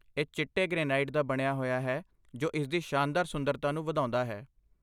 ਇਹ ਚਿੱਟੇ ਗ੍ਰੇਨਾਈਟ ਦਾ ਬਣਿਆ ਹੋਇਆ ਹੈ ਜੋ ਇਸਦੀ ਸ਼ਾਨਦਾਰ ਸੁੰਦਰਤਾ ਨੂੰ ਵਧਾਉਂਦਾ ਹੈ